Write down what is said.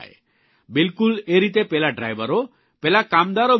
બિલકુલ એ રીતે પેલા ડ્રાઇવરો પેલા કામદારો વિષે વિચારો